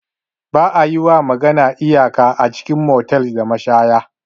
Ba'a yiwa magana iyaka a cikin motels da mashaya.